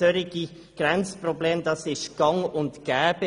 Solche Grenzprobleme sind gang und gäbe.